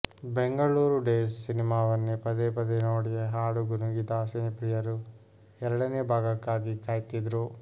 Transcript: Bengaluru days ಸಿನಿಮಾವನ್ನೇ ಪದೇ ಪದೇ ನೋಡಿ ಹಾಡು ಗುನುಗಿದ ಸಿನಿಪ್ರಿಯರು ಎರಡನೇ ಭಾಗಕ್ಕಾಗಿ ಕಾಯ್ತಿದ್ರು